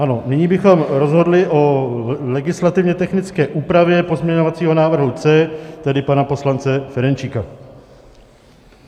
Ano, nyní bychom rozhodli o legislativně technické úpravě pozměňovacího návrhu C, tedy pana poslance Ferjenčíka.